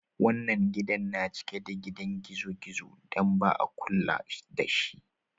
Wannan gidan na cike da gidan gizo-gizo dan ba'a kulla da si.